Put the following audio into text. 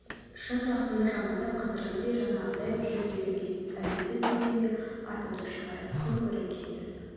шын жақсыны жамандап қазіргідей жаңағыдай жүз берем дейсіз әлбетте сонымен де атымды шығарып күн көрем дейсіз